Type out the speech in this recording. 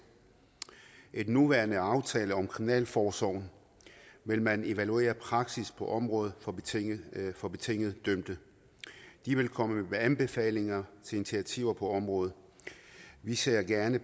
i den nuværende aftale om kriminalforsorgen vil man evaluere praksis på området for betinget for betinget dømte de vil komme med anbefalinger til initiativer på området vi ser gerne